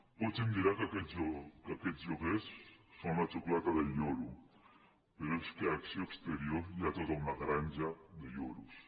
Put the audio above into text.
potser em dirà que aquests lloguers són la xocolata del lloro però és que a acció exterior hi ha tota una granja de lloros